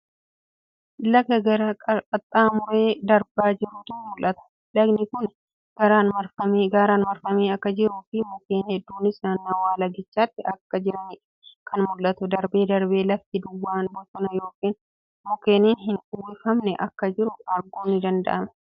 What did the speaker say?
Laga gaara qaxxaamuree darbaa jirutu mul'ata. Lagni kuni gaaraan marfamee akka jiruu fi mukkeen hedduunis naannawwa lagichaatti akka jiraniidha kan mul'atu. Darbee darbee lafti duwwaan bosona ykn mukkeenin hin uwwifamne akka jiru arguun ni danda'ama.